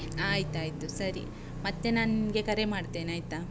ಆಯ್ತಾಯ್ತು ಸರಿ, ಮತ್ತೆ ನಾನ್ ನಿಂಗೆ ಕರೆ ಮಾಡ್ತೇನಾಯ್ತಾ?